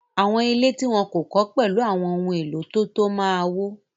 Àwọn ilé tí wọ́n kò kọ́ pẹ̀lẹ́ àwọn ohun-èlò tó tọ́ ma wó.